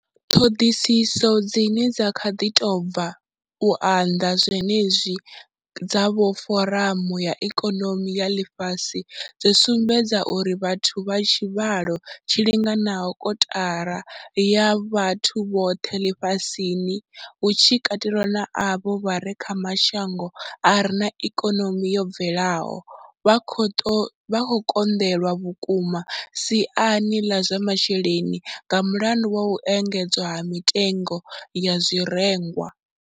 Ṱhoḓisiso dzine dza kha ḓi tou bva u anḓadzwa zwenezwi dza vha Foramu ya Ikonomi ya Ḽifhasi dzo sumbedza uri vhathu vha tshivhalo tshi linganaho kotara ya vhathu vhoṱhe ḽifhasini, hu tshi katelwa na avho vha re kha mashango a re na ikonomi yo bvelelaho, vha khou konḓelwa vhukuma siani ḽa zwa masheleni nga mulandu wa u engedzea ha mitengo ya zwirengwa.